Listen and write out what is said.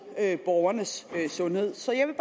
borgernes sundhed så jeg vil